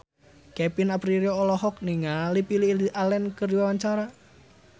Kevin Aprilio olohok ningali Lily Allen keur diwawancara